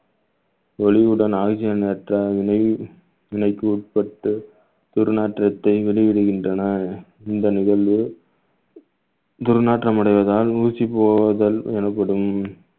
ஒளியுடன் ஆகிய நேரங்களில் வினைக்கு உட்பட்டு துர்நாற்றத்தை வெளியிடுகின்றன இந்த நிகழ்வு துர்நாற்றம் அடைவதால் ஊசி போவுதல் எனப்படும்